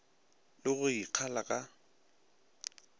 le go e kgala ka